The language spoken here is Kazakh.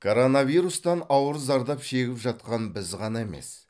коронавирустан ауыр зардап шегіп жатқан біз ғана емес